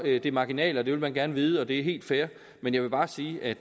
er det marginale det vil man gerne vide og det er helt fair men jeg vil bare sige at